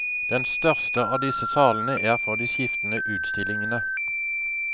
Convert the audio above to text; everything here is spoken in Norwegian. Den største av disse salene er for de skiftende utstillingene.